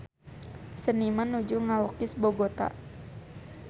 Seniman nuju ngalukis Bogota